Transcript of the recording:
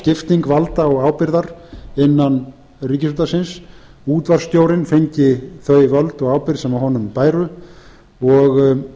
skipting valda og ábyrgðar innan ríkisútvarpsins útvarpsstjórinn fengi þau völd og ábyrgð sem honum bæru og